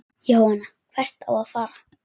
Jóhann: Hvert á að fara?